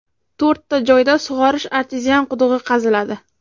To‘rtta joyda sug‘orish artezian qudug‘i qaziladi.